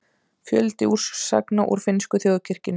Fjöldi úrsagna úr finnsku þjóðkirkjunni